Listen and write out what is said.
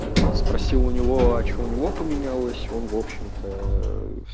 спроси у него а что у него поменялось он в общем-то